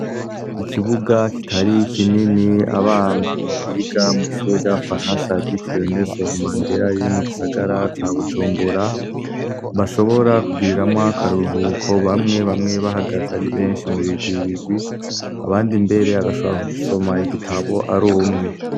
Ikibuga kitari kinini abana mu biga mw'ishure ry'abafaransa ryitiriwe Nelson Mandela riri mu gisagara ca Bujumbura bashobora kugiriramwo akaruruhuko. Bamwe bamwe bahagaze ari benshi mu bigwi bigwi abandi mbere agashobora ku gisoma igitabo ari umwe.